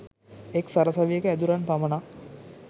එක් සරසවියක ඇදුරන් පමණක්